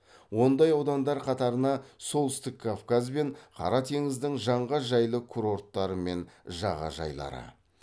ондай аудандар қатарына солтүстік кавказ бен қара теңіздің жанға жайлы курорттары мен жағажайлары